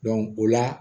o la